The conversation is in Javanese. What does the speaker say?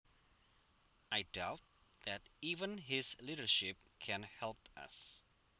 I doubt that even his leadership can help us